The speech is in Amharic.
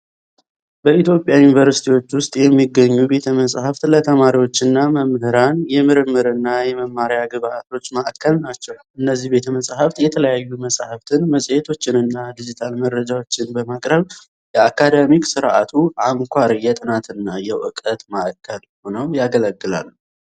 በኢትዮጵያ ዩኒቨርሲቲዎች ውስጥ የሚገኙ ቤተ-መጻሕፍት ለተማሪዎችና መምህራን የምርምርና የመማሪያ ግብዓቶች ማዕከል ናቸው። እነዚህ ቤተ-መጻሕፍት የተለያዩ መጽሐፍትን፣ መጽሔቶችንና ዲጂታል መረጃዎችን በማቅረብ፣ የአካዳሚክ ሥርዓቱ አንኳር የጥናትና የእውቀት ማዕከል ሆነው ያገለግላሉ።